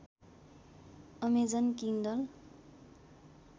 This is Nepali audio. Amazon Kindle